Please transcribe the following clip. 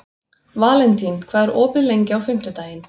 Valentín, hvað er opið lengi á fimmtudaginn?